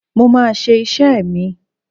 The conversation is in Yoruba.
Mo máa ṣe iṣẹ́ mi.